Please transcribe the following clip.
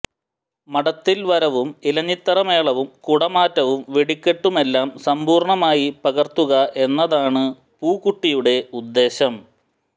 മഠത്തില് വരവും ഇലഞ്ഞിത്തറ മേളവും കുടമാറ്റവും വെടിക്കെട്ടുമെല്ലാം സമ്പൂര്ണ്ണമായി പകര്ത്തുക എന്നതാണ് പൂക്കുട്ടിയുടെ ഉദ്ദേശം